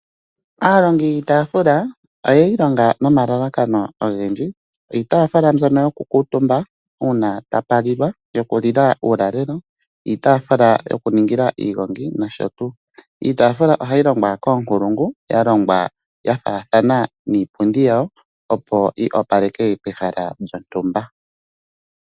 Aalongi yiitaafula oyeyi longa nomalalakano ogendji. Iitaafula mbyono yokukuutumba uuna tapulilwa uulalelo, iitaafula yokuningila iigongi nosho tuu. Iitaafula ohayi longwa koonkulungu yalongwa yafaathana niipundi yawo opo yi opaleke pehala lyontumba.